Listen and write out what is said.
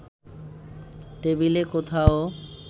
টেবিলে কোথাও